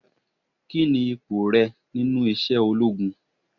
Kini ipò rẹ nínú iṣẹ́ ológun?